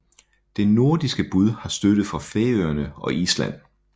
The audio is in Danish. Det nordiske bud har støtte fra Færøerne og Island